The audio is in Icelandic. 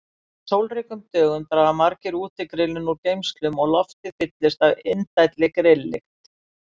Á sólríkum dögum draga margir útigrillin úr geymslum og loftið fyllist af indælli grilllykt.